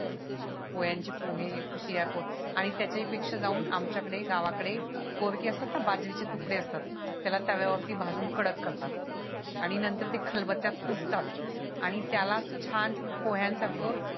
पोहे आणि त्याच्या ही पेक्षा जाऊन आमच्या कडे गावाकडे असतात ना बाजरीचे तुकडे असतात त्याला तव्या वरती भाजून कडक करतात आणि नंतर ते खलबत्त्यात कुटतात आणि त्याला छान पोह्यान सारखं